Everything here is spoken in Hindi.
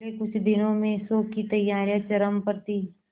अगले कुछ दिनों में शो की तैयारियां चरम पर थी